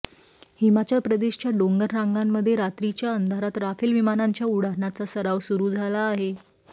हिमाचल प्रदेशच्या डोंगर रांगांमध्ये रात्रीच्या अंधारात राफेल विमानांच्या उड्डाणाचा सराव सुरू झाला आहे